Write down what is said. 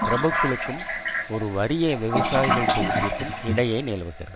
பிரபுக்களுக்கும் ஒரு வறிய விவசாயிகள் தொகுப்பிற்கும் இடையே நிலவுகிறது